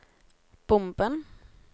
bomben